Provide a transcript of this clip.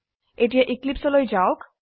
এতিয়া এক্লিপছে লৈ যাওক